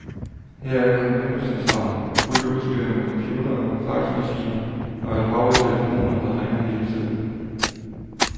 Her er kommandocentralen, fuldt udstyret med computere, faxmaskiner og et hav af telefoner, der ringer hele tiden.